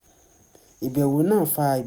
ìbẹ̀wò náà fa